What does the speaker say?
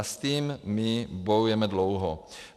A s tím my bojujeme dlouho.